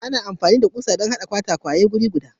Ana amfani da kusoshi don haɗa katako guda biyu tare.